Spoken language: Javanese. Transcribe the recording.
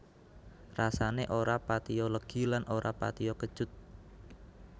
Rasané ora patiya legi lan ora patiya kecut